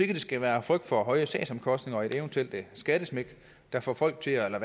det skal være frygt for høje sagsomkostninger og et eventuelt skattesmæk der får folk til at